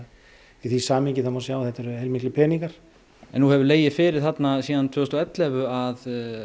í því samhengi má sjá að þetta eru heilmiklir peningar en nú hefur legið fyrir síðan tvö þúsund og ellefu að